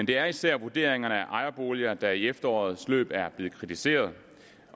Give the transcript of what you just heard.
det er især vurderingerne af ejerboliger der i efterårets løb er blevet kritiseret